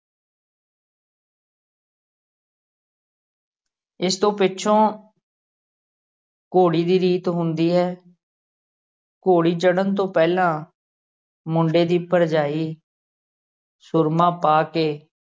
ਇਸ ਤੋਂ ਪਿੱਛੋਂ ਘੋੜੀ ਦੀ ਰੀਤ ਹੁੰਦੀ ਹੈ ਘੋੜੀ ਚੜ੍ਹਨ ਤੋਂ ਪਹਿਲਾ ਮੁੰਡੇ ਦੀ ਭਰਜਾਈ ਸੁਰਮਾ ਪਾ ਕੇ